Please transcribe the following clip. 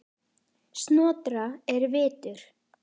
Snotra er vitur